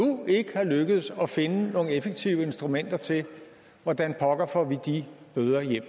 ikke er lykkedes at finde nogle effektive instrumenter til hvordan pokker vi får de bøder hjem